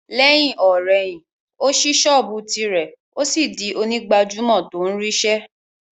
Lẹ́yìn-ò-rẹyìn, ó ṣí sọ́ọ̀bù tìrẹ, ó sì di onígbàjámọ̀ tó ń rí ṣe